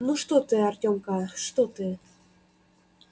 ну что ты артёмка что ты